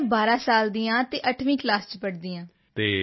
ਮੈਂ 12 ਸਾਲ ਦੀ ਹਾਂ ਅਤੇ 8ਵੀਂ ਕਲਾਸ ਵਿੱਚ ਪੜ੍ਹਦੀ ਹਾਂ